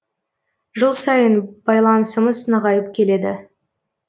жыл сайын байланысымыз нығайып келеді